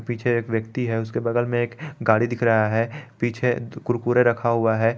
पीछे एक व्यक्ति है उसके बगल में एक गाड़ी दिख रहा है पीछे कुरकुरे रखा हुआ है।